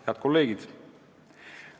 Head kolleegid!